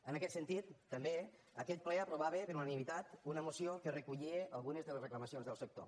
en aquest sentit també aquest ple aprovava per unanimitat una moció que recollia algunes de les reclamacions del sector